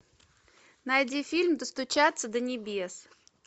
найди фильм достучаться до небес